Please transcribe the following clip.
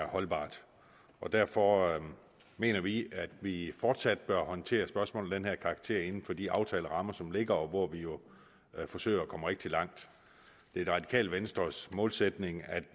holdbart derfor mener vi at vi fortsat bør håndtere spørgsmål af den her karakter inden for de aftalerammer som ligger og hvor vi jo forsøger at komme rigtig langt det er det radikale venstres målsætning at